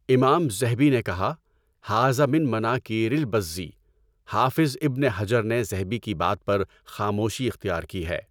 امام ذہبی نے کہا "ھٰذَا مِنٔ مَنَاکِیْرِ الٔبَزّي" حافظ ابن حجر نے ذہبی کی بات پر خاموشی اختیار کی ہے۔